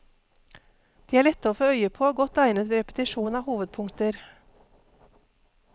De er lette å få øye på og godt egnet ved repetisjon av hovedpunkter.